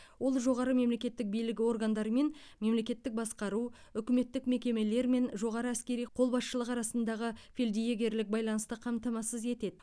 ол жоғары мемлекеттік билік органдары мен мемлекеттік басқару үкіметтік мекемелер мен жоғары әскери қолбасшылық арасындағы фельдъегерлік байланысты қамтамасыз етеді